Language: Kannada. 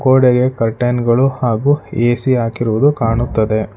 ಗೋಡೆಗೆ ಕರ್ಟನ್ಗಳು ಹಾಗು ಏ_ಸಿ ಹಾಕಿರುವುದು ಕಾಣುತ್ತದೆ.